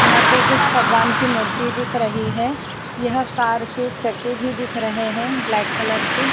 यहां पे कुछ भगवान की मूर्ति दिख रही है यह कार के चके भी दिख रहे हैं ब्लैक कलर के --